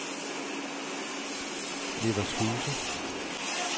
Nevershuse